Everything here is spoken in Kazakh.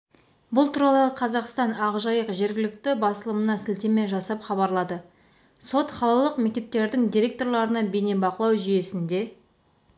бұл туралы қазақстан ақжайық жергілікті басылымына сілтеме жасап хабарлады сот қалалық мектептердің директорларына бейнебақылау жүйесінде